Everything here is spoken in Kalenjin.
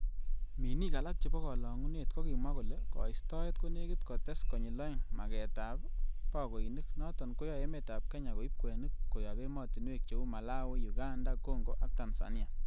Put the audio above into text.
Minik alak chebo kolongunet, kokimwa kole koistoet konekit kotes konyil oeng magetab boikoinik, noton koyoe emetab Kenya ko ib kwenik koyob emotinwek cheu ;Malawai, uganda, Congo ak Tanzania.